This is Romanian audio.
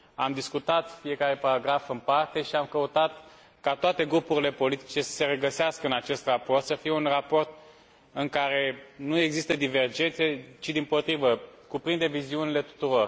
Am discutat fiecare paragraf în parte și am căutat ca toate grupurile politice să se regăsească în acest raport, să fie un raport în care nu există divergențe, ci dimpotrivă, cuprinde viziunile tuturor.